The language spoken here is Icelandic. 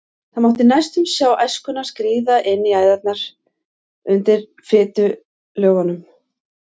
Það mátti næstum sjá æskuna skríða inn í æðarnar undir fitulögunum.